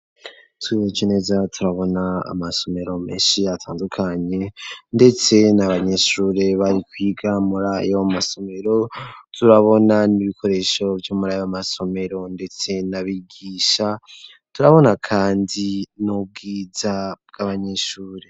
Turavye neza turabona amasomero menshi atandukanye ndetse n'abanyeshure bari kwiga murayo masomero turabona n'ibikoresho vyo muri ayo masomero ndetse na bigisha, turabona kandi n'ubwiza bw'abanyeshure.